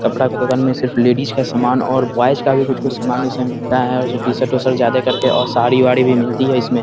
कपड़ा का दुकान में सिर्फ लेडीज का सामान और बॉयज का भी कुछ-कुछ सामान इसमें मिलता है और जो टी-शर्ट - उशर्ट ज्यादा कर के और साड़ी-वाड़ी भी मिलती है इसमें ।